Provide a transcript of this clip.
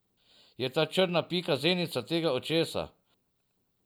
Je ta črna pika zenica tega očesa?